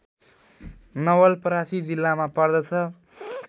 नवलपरासी जिल्लामा पर्दछ